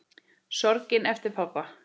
Sorgin eftir pabba.